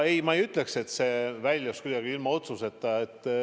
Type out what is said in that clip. Ei, ma ei ütleks, et see jäi kuidagi ilma otsuseta.